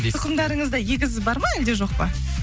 тұқымдарыңызда егіз бар ма әлде жоқ па